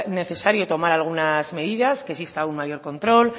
necesario tomar algunas medidas que exista un mayor control